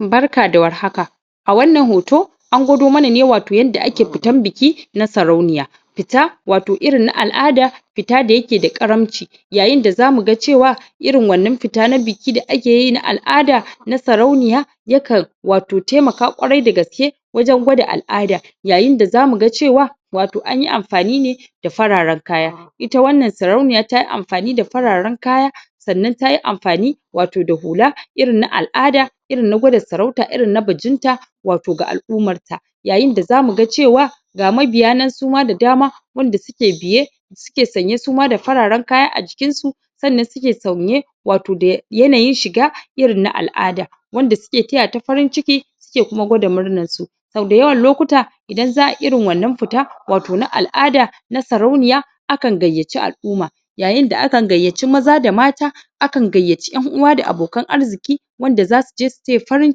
barka da war haka a wannan hoto an gwado mana ne wato yanda ake fitan bikin na sarauniya fita wato irin na al'ada wato fita da yake da karamci yayin da zamu ga cewa irin wannan fita na biki da akeyi na al'ada na sarauniya ya kan wato taimak kwarai dagaske wajen gwada al'ada yayin da zamu ga cewa wato anyi amfani ne da fararen kaya ita wannan sarauniya tayi amfani da fararen kaya sannan tayi amfani wato da hula irin na al'ada irin na gwada sarauta irin na bikin ta wato ga al'ummar ta yayin da zamu ga cewa ga ma biya nan su ma da dama wanda suke biye suke sanye suma da faraen kaya a jikin su sannan suke sauye wato da yana yin shiga irin na al'ada wanda suke taya ta farin ciki suke kuma gwada murnan su sau dayawan lokuta idan za'a irin wannan fita wato na al'ada na sarauniya akan gaiyace al'umma yayin da aka gayyace maza da mata akan gayyace en'uwa da abokan arziki wanda zasu je su taya farin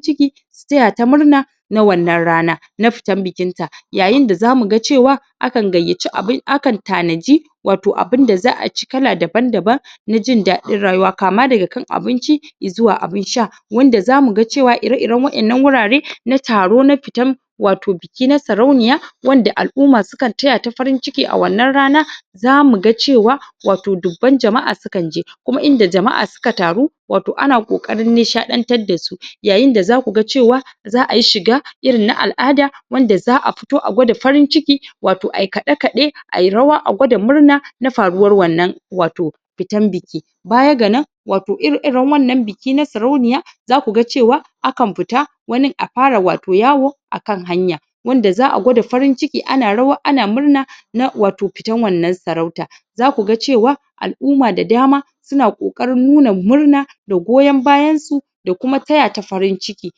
ciki su taya ta murna na wannan rana na fitan bikin ta yayin da zamu ga cewa akan gayyaci akan tanaji wato abun da za'a ci kala daban daban na jin dadin rayuwa kama daga kan abinci zuwa abun sha wanda zamu ga cewa ire iren wa'ennan wurare na taro na fitan wato biki na sarauniya wanda al'umma su kan taya ta farin ciki a wannan rana zamu ga cewa wato dubban jama'a sukan je kuma inda jama'a suka taru wato ana kokarin nishadantar dasu yayin da zaku ga cewa za'ayi shiga irin na al'ada wanda za'a fito a gwada farin ciki wato a yi kade kade ayi rawa a gwada murna na faruwan wannan wato fitan biki baya ganan wato ire iren wannan biki na sarauniya zaku ga cewa akan fita wanin a fara wato yawo akan hanya wanda za'a gwada farin ciki ana rawa ana murna na wato fitan wannan sarauta zaku ga cewa al'umma da dama suna kokarin murna da goyon bayan su da kuma taya ta farin ciki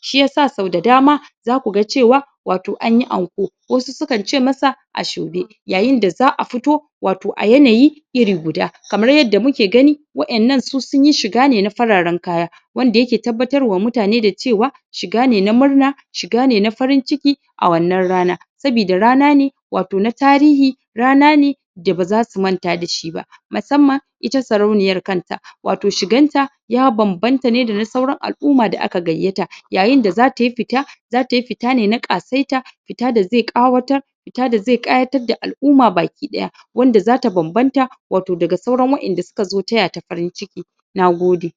shiyasa sau da dama zaku ga cewa wato anyi anko wasu su kan ce masa asoebi yayin da za'a fito wato a yanayi iri guda kamar yadda muke gani wa'ennan su sunyi shiga ne na fararen kaya wanda yake tabbatar wa mutane da cewa shiga ne na murna shiga ne na farin ciki a wannan rana sabida rana ne wato na tarihi rana ne da baza su manta dashi ba musamman ita sarauniyan kanta wato shigan ta ya bambanta ne sauran al'umma da aka gayyata yayin da zatayi fita zata tayi fita ne na kasaita fita da zai kawatar fita da zai kayatar da al'umma baki daya wanda zata bambanta wato daga sauran wa'enda suka zo taya ta farin ciki Nagode